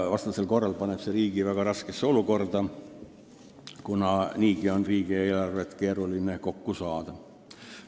Vastasel korral paneb see riigi väga raskesse olukorda – riigieelarvet on niigi keeruline kokku saada.